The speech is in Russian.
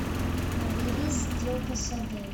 набери сделка с адель